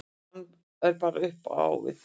Hann er bara upp á við.